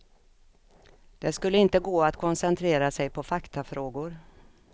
Det skulle inte gå att koncentrera sig på faktafrågor.